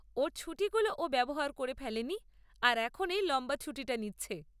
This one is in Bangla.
ওর ছুটিগুলো ও ব্যবহার করে ফেলেনি আর এখন এই লম্বা ছুটিটা নিচ্ছে।